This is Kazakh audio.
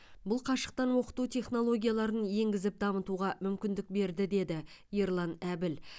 бұл қашықтан оқыту технологияларын енгізіп дамытуға мүмкіндік берді деді ерлан әбіл